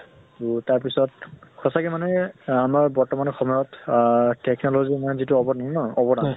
তʼ তাৰ পিছত সঁচাকে মানে আমাৰ বৰ্তমানৰ সময়ত আহ technology ৰ মানে যিটো অৱদান ন অৱদান